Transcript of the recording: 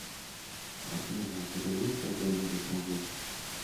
афина у тебя есть какой нибудь мужик